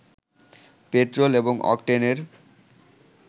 petrol এবং অকটেনের